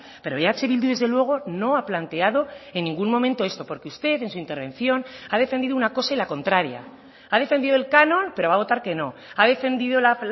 pero eh bildu desde luego no ha planteado en ningún momento esto porque usted en su intervención ha defendido una cosa y la contraria ha defendido el canon pero va a votar que no ha defendido la